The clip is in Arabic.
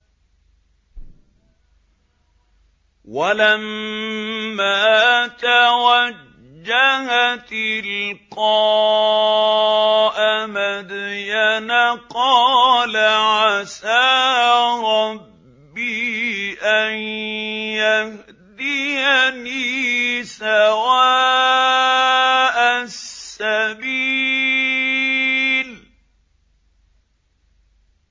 وَلَمَّا تَوَجَّهَ تِلْقَاءَ مَدْيَنَ قَالَ عَسَىٰ رَبِّي أَن يَهْدِيَنِي سَوَاءَ السَّبِيلِ